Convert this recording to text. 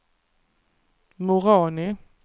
Moroni